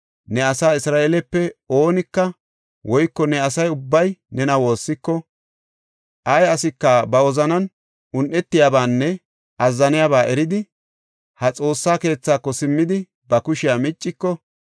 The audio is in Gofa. ne asaa Isra7eelepe oonika woyko ne asa ubbay nena woossiko, ay asika ba wozanan un7etiyabanne azzaniyaba eridi, ha Xoossa keethako simmidi, ba kushiya micciko,